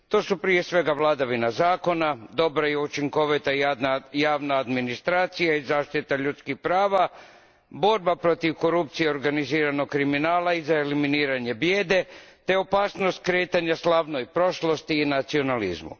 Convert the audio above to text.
To su prije svega vladavina zakona, dobra i učinkovita javna administracija i zaštita ljudskih prava, borba protiv korupcije i organiziranog kriminala i za eliminiranje bijede, te opasnost okretanja slavnoj prošlosti i nacionalizmu.